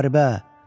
Müharibə.